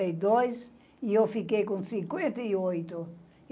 sessenta e dois , e eu fiquei com cinquenta e oito.